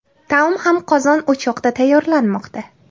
Taom ham qozon-o‘choqda tayyorlanmoqda.